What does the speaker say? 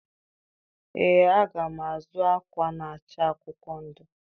Ee, aga m azụ akwa na-acha akwụkwọ ndụ.